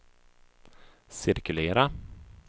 cirkulera